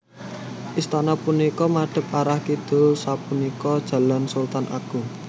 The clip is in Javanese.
Istana punika madhep arah kidul sapunika Jalan Sultan Agung